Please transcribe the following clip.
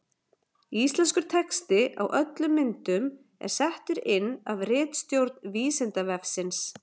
Íslenskur texti á öllum myndum er settur inn af ritstjórn Vísindavefsins.